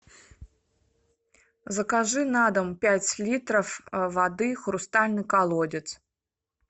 закажи на дом пять литров воды хрустальный колодец